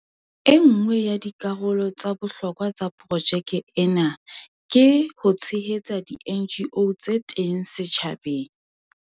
E nngwe ya dikarolo tsa bohlokwa tsa projeke ena ke ho tshehetsa di-NGO tse teng setjhabeng.